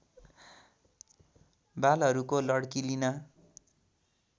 वालहरूको लड्की लिन